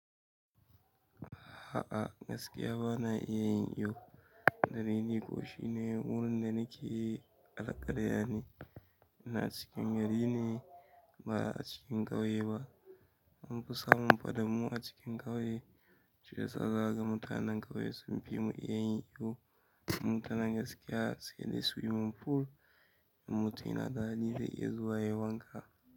Ha a, gaskiya bana iya yin iyo, duk da dai ni ko shine wurin da nake alkarya ne. Yana cikin gari ne ba a cikin ƙauye ba. An fi samun faɗammun a cikin ƙauye. Shi yasa za ga mutanen ƙauye sun fi mu iya yin iyo. Mutanen gaskiya sai dai swimming pool in mutum yana da hali zai iya zuwa yayi wanka.